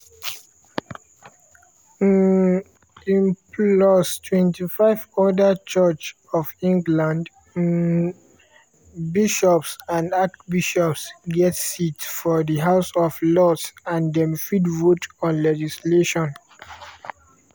um im plus 25 oda church of england um bishops and archbishops get seats for di house of lords and dem fit vote on legislation.